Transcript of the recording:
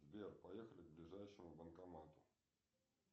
сбер поехали к ближайшему банкомату